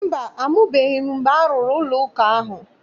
Mba, amụbeghị m mgbe a rụrụ ụlọụka ahụ.